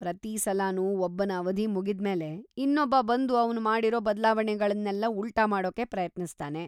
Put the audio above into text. ಪ್ರತೀ ಸಲನೂ ಒಬ್ಬನ ಅವಧಿ ಮುಗಿದ್ಮೇಲೆ, ಇನ್ನೊಬ್ಬ ಬಂದು ಅವ್ನು ಮಾಡಿರೋ ಬದ್ಲಾವಣೆಗಳ್ನೆಲ್ಲ ಉಲ್ಟಾ ಮಾಡೋಕೆ ಪ್ರಯತ್ನಿಸ್ತಾನೆ.